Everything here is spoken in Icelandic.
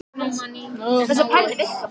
Er það ekki miklu viturlegra en að fara upp?